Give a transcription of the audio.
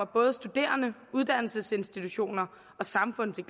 både studerende uddannelsesinstitutioner og samfundet det